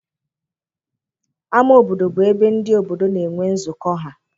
Ámá obodo bụ ebe ndị obodo na-enwe nzukọ ha.